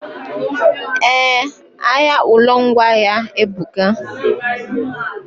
Eh, ahịa ụlọ ngwaahịa ebuka